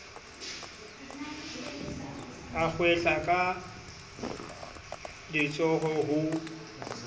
a hwehla ka letsoho ho